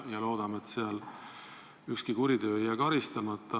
Loodame, et seal ükski kuritegu ei jää karistamata.